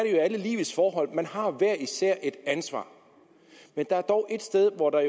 i alle livets forhold man har hver især et ansvar men der er dog et sted hvor der